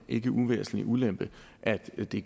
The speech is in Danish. ikke uvæsentlige ulempe at det